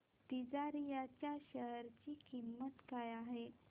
तिजारिया च्या शेअर ची किंमत काय आहे